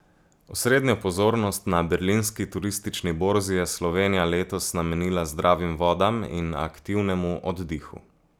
Osrednjo pozornost na berlinski turistični borzi je Slovenija letos namenila zdravim vodam in aktivnemu oddihu.